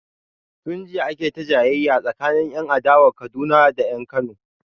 Tun jiya ake ta jayayya tsakanin 'yan adawa a Kaduna da 'yan Kano.